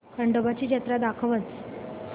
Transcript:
खंडोबा ची जत्रा दाखवच